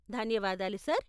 ధన్యవాదాలు సార్ .